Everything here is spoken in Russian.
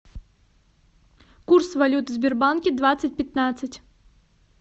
курс валют в сбербанке двадцать пятнадцать